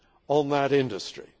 on that industry.